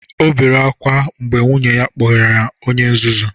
O bere ákwá mgbe nwunye ya kpọrọ ya onye nzuzu